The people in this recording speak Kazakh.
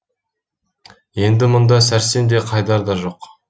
енді мұнда сәрсен де қайдар да жоқ